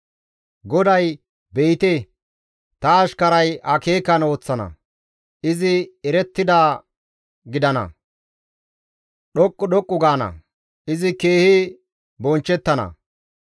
GODAY, «Be7ite, ta ashkaray akeekan ooththana; izi erettidaade gidana, izi dhoqqu dhoqqu gaana; izi keehi bonchchettana.